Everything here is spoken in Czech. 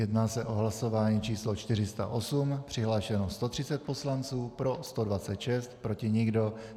Jedná se o hlasování číslo 408, přihlášeno 130 poslanců, pro 126, proti nikdo.